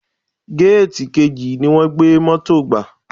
Géètì kejì ni wọ́n gbé Mọ́tò gbà.